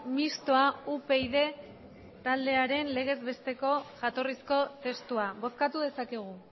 mistoa upyd taldearen legez besteko jatorrizko testua bozkatu dezakegu